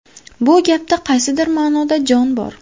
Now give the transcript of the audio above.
Bu gapda qaysidir ma’noda jon bor.